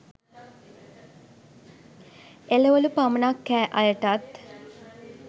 එළවලු පමණක් කෑ අය ටත්